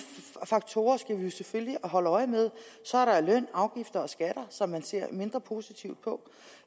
faktorer skal vi selvfølgelig holde øje med så er der løn afgifter og skatter som man ser mindre positivt på